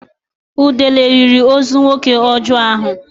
Udele riri ozu nwoke ọjọọ ahụ.